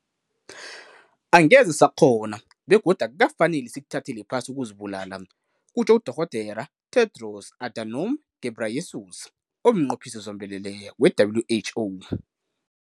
"Angeze sakghona begodu akukafaneli sikuthathele phasi ukuzibulala," kutjho uDorh. Tedros Adhanom Ghebreyesus, omNqophisi Zombelele we-WHO.